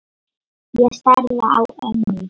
Ég starði á ömmu.